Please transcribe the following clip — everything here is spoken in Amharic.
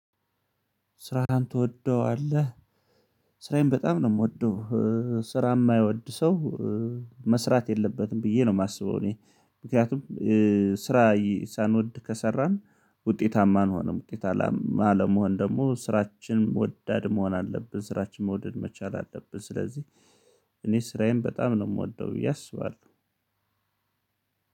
ስራህን ትወደዋለህ? ስራዬን በጣም ነው የምወደው። ስራ የማይወድ ሰው መስራት የለበትም ብዬ ነው የማስበው። እኔ ምክንያቱም ስራ ሳንወድ ከሰራን ውጤታማ አንሆንም። ውጤት አለመሆን ደግሞ ስራችን ወዳድ መሆን አለብን ስራችን መውደድ መቻል አለብን። ስለዚህ እኔ ስራዬን በጣም ነው የምወደው ብዬአያስባሉ።